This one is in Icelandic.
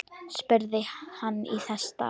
spurði hann þess í stað.